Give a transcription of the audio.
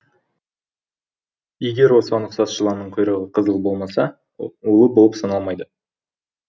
егер оған ұқсас жыланның құйрығы қызыл болмаса улы болып саналмайды